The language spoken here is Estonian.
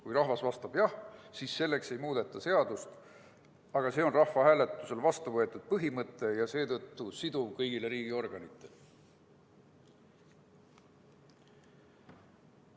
Kui rahvas vastab "jah", siis ei muudeta seadust, küll aga on see rahvahääletusel vastu võetud põhimõte ja seetõttu siduv kõigile riigiorganitele.